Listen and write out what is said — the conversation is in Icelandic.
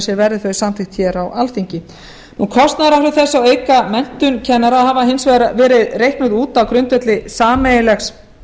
sér verði þau samþykkt á alþingi kostnaðaráhrif þess að auka menntun kennara hafa hins vegar verið reiknuð út á grundvelli sameiginlegs